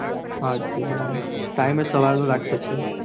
આઠ થી બાર time એ સવાર નો રાખ્યો છે.